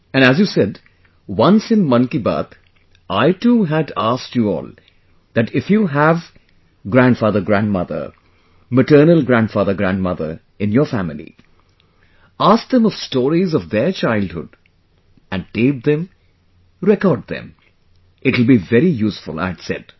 And as you said, once in Mann Ki Baat I too had asked you all that if you have grandfathergrandmother, maternal grandfathergrandmother in your family, ask them of stories of their childhood and tape them, record them, it will be very useful, I had said